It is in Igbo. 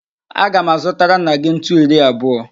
Aga m azụtara nna gị ntu iri abụọ.